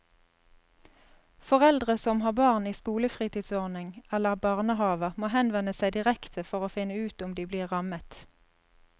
Foreldre som har barn i skolefritidsordning eller barnehaver må henvende seg direkte for å finne ut om de blir rammet.